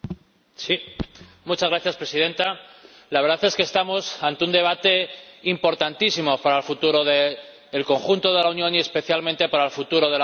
Señora Presidenta, la verdad es que estamos ante un debate importantísimo para el futuro del conjunto de la Unión y especialmente para el futuro de la zona del euro.